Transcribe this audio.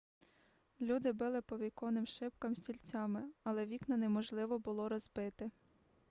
люди били по віконним шибкам стільцями але вікна неможливо було розбити